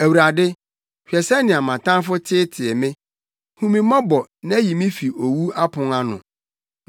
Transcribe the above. Awurade, hwɛ sɛnea mʼatamfo teetee me! Hu me mmɔbɔ na yi me fi owu apon ano,